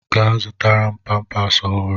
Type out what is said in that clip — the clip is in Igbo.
Gaa zụtara m pampas ọhụrụ!